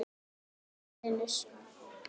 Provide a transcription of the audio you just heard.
NASA- Venus.